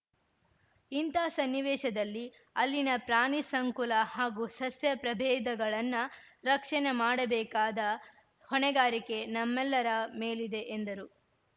ಇಂತ ಸನ್ನಿವೇಶದಲ್ಲಿ ಅಲ್ಲಿನ ಪ್ರಾಣಿ ಸಂಕುಲ ಹಾಗೂ ಸಸ್ಯ ಪ್ರಭೇದಗಳನ್ನ ರಕ್ಷಣೆ ಮಾಡಬೇಕಾದ ಹೊಣೆಗಾರಿಕೆ ನಮ್ಮೆಲ್ಲರ ಮೇಲಿದೆ ಎಂದರು